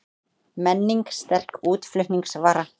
Menning sterk útflutningsvara